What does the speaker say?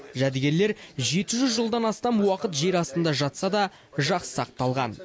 жәдігерлер жеті жүз жылдан астам уақыт жер астында жатса да жақсы сақталған